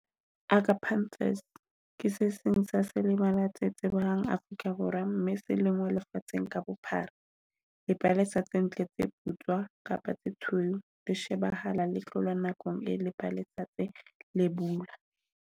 ke se seng sa selebala tse tsebehang Africa Borwa, mme se lengwa lefatsheng ka bophara. Dipalesa tse ntle tse putswa kapa tse tshweu di shebahala le tlola nakong e .